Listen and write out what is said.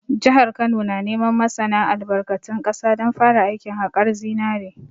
Jihar Kano na neman masana albarkatun ƙasa don fara aikin haƙar zinare